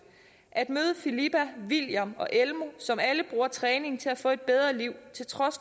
at møde filippa william og elmo som alle bruger træningen til at få et bedre liv til trods